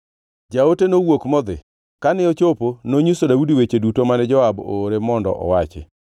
Jaote nowuok modhi, kane ochopo nonyiso Daudi weche duto mane Joab oore mondo owachi.